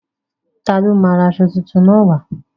Ta ni ó máa lọ ra aṣọ fúnfun náà wá.